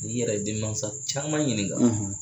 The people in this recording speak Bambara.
N'i yɛrɛ ye demasa caman ɲininka